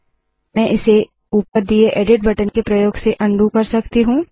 मैं इसे ऊपर दिए एडिट बटन के प्रयोग से उंडो अन्डू कर सकती हूँ